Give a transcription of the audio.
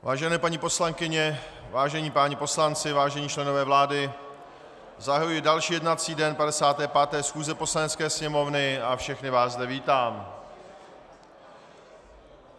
Vážené paní poslankyně, vážení páni poslanci, vážení členové vlády, zahajuji další jednací den 55. schůze Poslanecké sněmovny a všechny vás zde vítám.